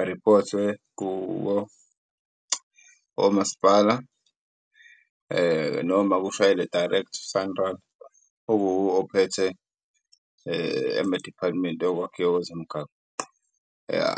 ariphothwe omasipala. Noma ushayele direct SANRAL ophethe ame-department yokwakhiwa kwezemigaqo ya .